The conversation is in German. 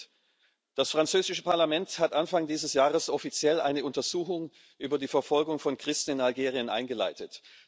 4 Das französische Parlament hat Anfang dieses Jahres offiziell eine Untersuchung über die Verfolgung von Christen in Algerien eingeleitet.